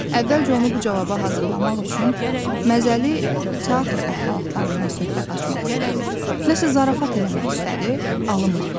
Əvvəlcə onu bu cavaba hazırlamaq üçün məzəli teatr əhvalatlarından söhbət açmaq istədi, nəsə zarafat eləmək istədi, alınmadı.